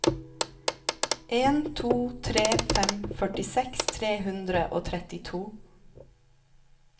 en to tre fem førtiseks tre hundre og trettito